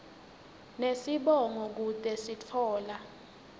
nesibongo kute sitfola